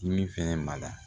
Dimin fɛnɛ bada